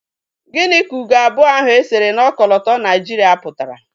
Gịnị ka ugo abụọ ahụ e sere na okolota Naijiria pụtara?